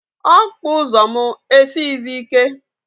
Okpa ụzọ m esighizi ike